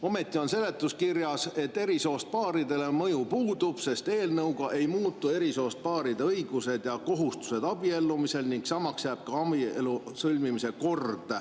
Ometi on seletuskirjas öeldud, et eri soost paaridele mõju puudub, sest eelnõuga ei muutu eri soost paaride õigused ja kohustused abiellumisel ning samaks jääb ka abielu sõlmimise kord.